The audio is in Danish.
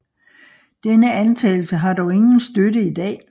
Denne antagelse har dog ingen støtte i dag